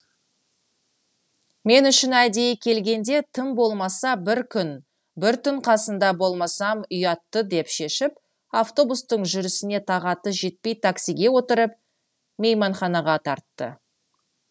мен үшін әдейі келгенде тым болмаса бір күн бір түн қасында болмасам ұят ты деп шешіп автобустың жүрісіне тағаты жетпей таксиге отырып мейманханаға тартты